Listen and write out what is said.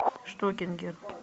штокингер